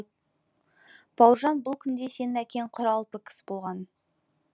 бауыржан бұл күнде сенің әкең құралпы кісі болған